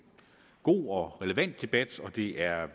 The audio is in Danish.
god og relevant debat og at det er